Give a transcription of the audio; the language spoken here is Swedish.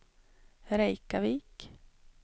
Reykjavik